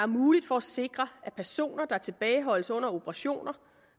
muligt for at sikre at personer der tilbageholdes under operationer